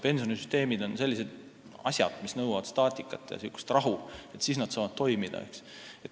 Pensionisüsteem on selline asi, mis nõuab staatikat ja rahu, siis see saab toimida.